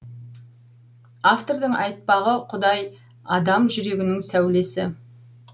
автордың айтпағы құдай адам жүрегінің сәулесі